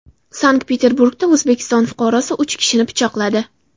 Sankt-Peterburgda O‘zbekiston fuqarosini uch kishi pichoqladi .